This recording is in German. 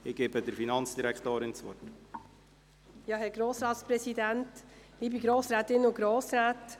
– Ich erteile Finanzdirektorin Simon das Wort.